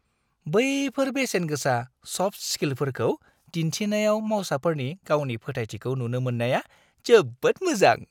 बैफोर बेसेनगोसा सफ्ट स्किलफोरखौ दिन्थिनायाव मावसाफोरनि गावनि फोथायथिखौ नुनो मोननाया जोबोद मोजां।